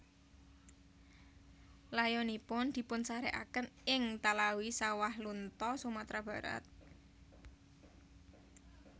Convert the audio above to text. Layonipun dipunsarekaken ing Talawi Sawahlunto Sumatera Barat